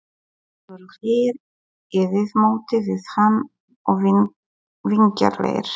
Hinir voru hlýir í viðmóti við hann og vingjarnlegir.